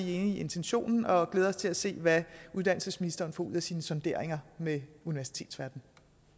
enige i intentionen og glæder os til at se hvad uddannelsesministeren får ud af sine sonderinger med universitetsverdenen